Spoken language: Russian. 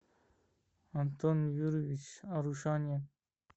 антон юрьевич арушанин